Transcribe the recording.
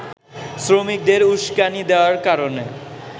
শ্রমিকদের উস্কানি দেয়ার কারণে